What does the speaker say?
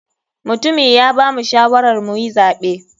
Mutumi ya bamu shawarar muyi zaɓe.